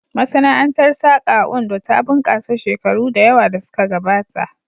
Masana'antar saƙa a Ondo ta bunƙasa shekaru da yawa da suka gabata